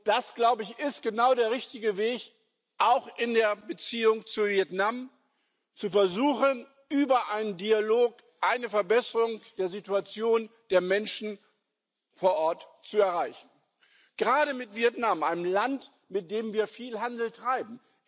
Das ist genau der richtige Weg, auch in der Beziehung zu Vietnam zu versuchen, über einen Dialog eine Verbesserung der Situation der Menschen vor Ort zu erreichen gerade mit Vietnam, einem Land, mit dem wir viel Handel treiben.